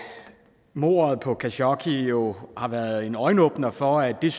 mordet på khashoggi jo har været en øjenåbner for at det er